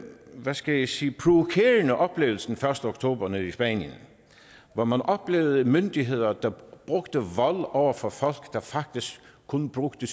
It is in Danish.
hvad skal jeg sige provokerende oplevelse den første oktober nede i spanien hvor man oplevede myndigheder der brugte vold over for folk der faktisk kun brugte